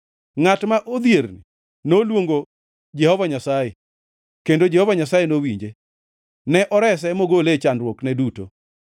Ngʼat ma odhierni noluongo Jehova Nyasaye, kendo Jehova Nyasaye nowinje; ne orese mogole e chandruokne duto.